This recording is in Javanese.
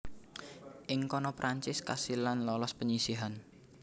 Ing kono Prancis kasil lan lolos penyisihan